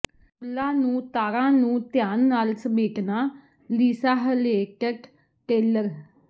ਪੂਲਾ ਨੂੰ ਤਾਰਾਂ ਨੂੰ ਧਿਆਨ ਨਾਲ ਸਮੇਟਣਾ ਲੀਸਾ ਹਲੇਟਟ ਟੇਲਰ